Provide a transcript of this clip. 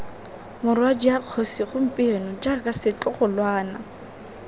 morwadia kgosi gompieno jaana setlogolwana